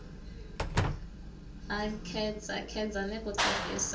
a khedzakheza ni ku tirhisa